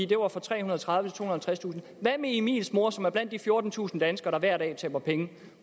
det var fra trehundrede og tredivetusind og halvtredstusind hvad med emils mor som er blandt de fjortentusind danskere der hver dag taber penge